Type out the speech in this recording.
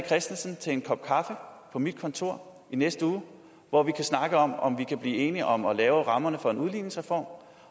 christensen til en kop kaffe på mit kontor i næste uge hvor vi kan snakke om om vi kan blive enige om at lave rammerne for en udligningsreform